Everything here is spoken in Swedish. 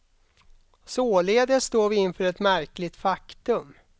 Således står vi inför ett märkligt faktum.